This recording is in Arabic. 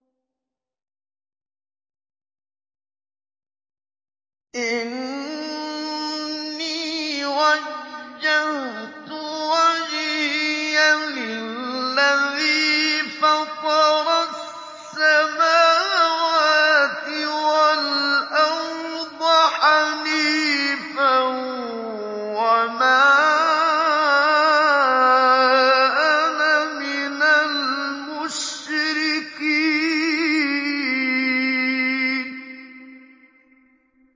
إِنِّي وَجَّهْتُ وَجْهِيَ لِلَّذِي فَطَرَ السَّمَاوَاتِ وَالْأَرْضَ حَنِيفًا ۖ وَمَا أَنَا مِنَ الْمُشْرِكِينَ